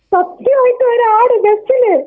സത്യമായിട്ടും ഒരാട് ബസില്.